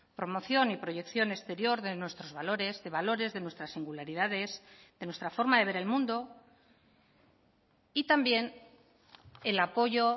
promoción y proyección exterior de nuestros valores de valores de nuestras singularidades de nuestra forma de ver el mundo y también el apoyo